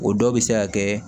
O dɔ bɛ se ka kɛ